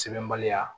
Sɛbɛnbaliya